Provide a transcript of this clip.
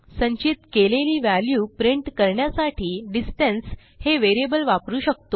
संचित केलेली value print करण्यासाठी डिस्टन्स हे व्हेरिएबल वापरू शकतो